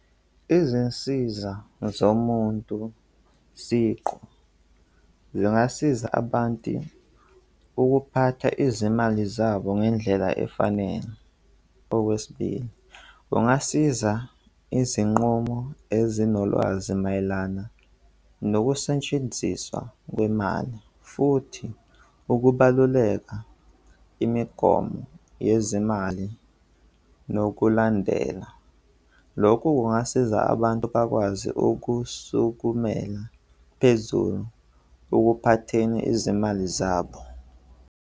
Izinsiza zomuntu siqu zingasiza abantu ukuphatha izimali zabo ngendlela efanele. Okwesibili, kungasiza izinqumo ezinolwazi mayelana nokusetshenziswa kwemali, futhi ukubaluleka imigomo yezezimali nokulandela. Lokhu kungasiza Abantu bakwazi ukusukumela phezulu ukuphatheleni izimali zabo.